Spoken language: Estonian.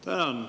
Tänan!